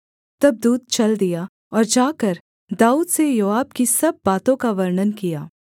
तब दूत चल दिया और जाकर दाऊद से योआब की सब बातों का वर्णन किया